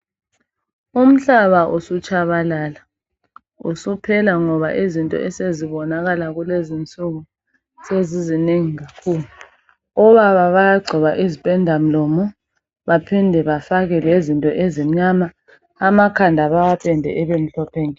Umhlaba usutshabalala usuphela ngoba izinto esezibonakala kulezinsuku sezizinengi kakhulu , obaba bayagcoba izipenda mlomo baphinde bafake lezinto ezimnyama amakhanda bawapende abemhlophe nke.